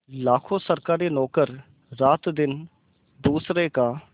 लाखों सरकारी नौकर रातदिन दूसरों का